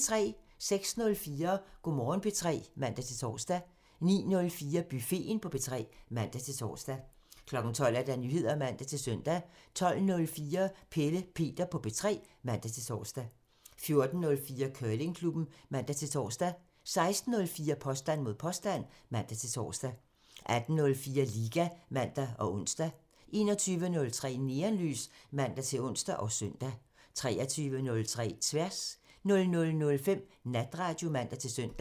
06:04: Go' Morgen P3 (man-tor) 09:04: Buffeten på P3 (man-tor) 12:00: Nyheder (man-søn) 12:04: Pelle Peter på P3 (man-tor) 14:04: Curlingklubben (man-tor) 16:04: Påstand mod påstand (man-tor) 18:04: Liga (man og ons) 21:03: Neonlys (man-ons og søn) 23:03: Tværs (man) 00:05: Natradio (man-søn)